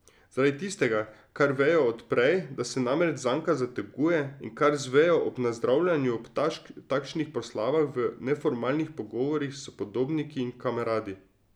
Zaradi tistega, kar vejo od prej, da se namreč zanka zateguje, in kar zvejo ob nazdravljanju ob takšnih proslavah v neformalnih pogovorih s podobniki in kameradi.